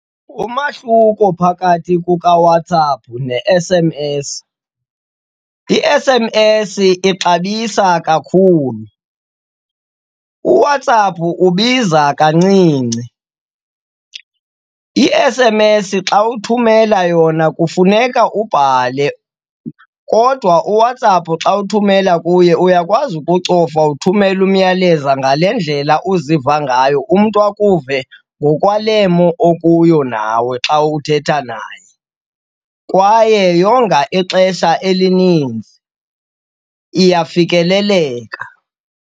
Umahluko phakathi kukaWhatsApp ne-S_M_S, i-S_M_S ixabisa kakhulu, uWhatsApp ubiza kancinci. I-S_M_S xa uthumela yona kufuneka ubhale kodwa uWhatsApp xa uthumela kuye uyakwazi ukucofa uthumele umyalezo ngale ndlela uziva ngayo, umntu akuve ngokwale mo okuyo nawe xa uthetha naye. Kwaye yonga ixesha elininzi, iyafikeleleka.